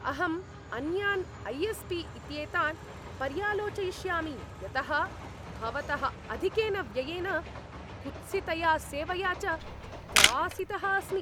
अहम् अन्यान् ऐ.एस्.पी. इत्येतान् पर्यालोचयिष्यामि यतः भवतः अधिकेन व्ययेन, कुत्सितया सेवया च त्रासितः अस्मि।